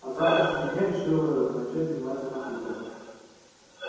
а с завтрашнего дня решил ээ начать заниматься компьютером